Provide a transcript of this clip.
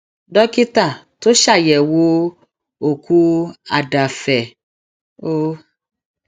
dókítà tó ṣàyẹwò òkú àdàáfẹ o e